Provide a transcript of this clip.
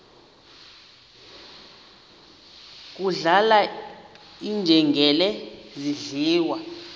kudlala iinjengele zidliwa